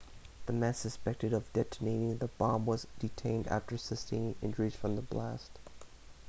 the man suspected of detonating the bomb was detained after sustaining injuries from the blast